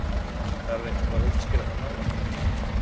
Þarf eitthvað að útskýra það nánar?